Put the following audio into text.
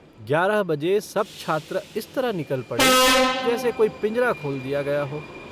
ग्यारह बजे सब छात्र इस तरह निकल पड़े जैसे कोई पिंजरा खोल दिया गया हो।